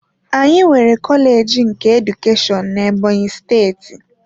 Anyị nwere kọleji nke Edukeshọn na Ebonyi steeti.